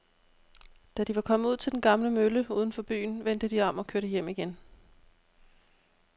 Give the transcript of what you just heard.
Da de var kommet ud til den gamle mølle uden for byen, vendte de om og kørte hjem igen.